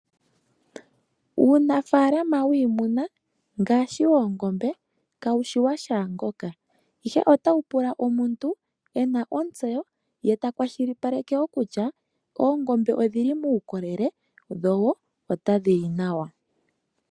Uunafalama wiimuna ngaashi woongombe ka wushi washaangoka, ashike ota wu pula omuntu e na ontseyo ye ta kwashilipaleke wo kutya oongombe odhi li muukolele dho wo otadhi li nawa.